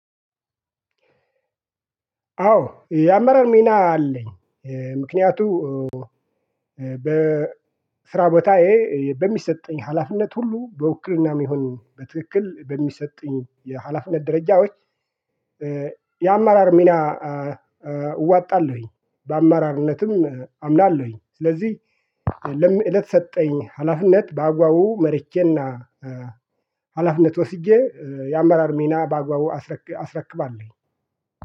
አዎ የአመራር ሚና አለኝ። ምክንያቱ በ በስራ ቦታዬ በሚሰጠኝ ሀላፊነት ሁሉ በውክልናም ይሁን በትክክል በሚሰጡኝ የሀላፊነት ደረጃዎች የአመራር ሚና እወጣለሁኝ። በአመራርነትም አምናለሁኝ። ስለዚህ ለሚ ለተሰጠኝ ሀላፊነት በአግባቡ መርቼና ሀላፊነት ወስጄ የአመራር ሚና በአግባቡ አስረክባለሁ።